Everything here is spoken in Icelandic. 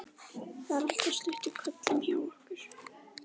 Það er alltaf stutt í hvellinn hjá okkur.